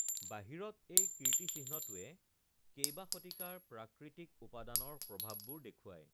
বাহিৰত এই কীৰ্তিচিহ্নটোৱে কেইবা শতিকাৰ প্ৰাকৃতিক উপাদানৰ প্ৰভাৱবোৰ দেখুৱায়৷